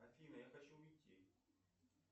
афина я хочу уйти